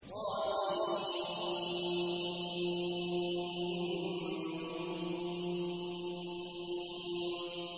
طسم